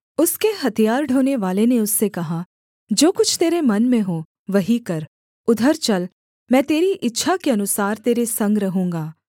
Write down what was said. उसके हथियार ढोनेवाले ने उससे कहा जो कुछ तेरे मन में हो वही कर उधर चल मैं तेरी इच्छा के अनुसार तेरे संग रहूँगा